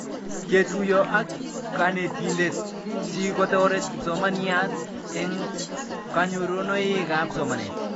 Ketuyo ak kanetindet si kotaret kipsomaniat eng' kanyorunoik ab somanet